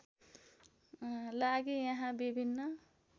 लागि यहाँ विभिन्न